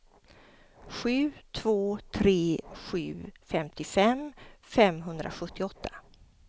sju två tre sju femtiofem femhundrasjuttioåtta